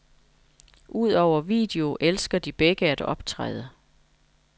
Udover video elsker de begge at optræde.